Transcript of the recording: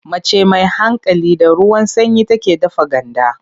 Mace mai hankali, da ruwan sanyi take dafa ganda.